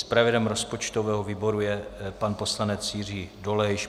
Zpravodajem rozpočtového výboru je pan poslanec Jiří Dolejš.